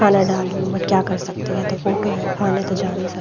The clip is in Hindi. खाना डाल रही है बट क्या कर सकते है ये तो फोटो है खाने तो जा नहीं सकते।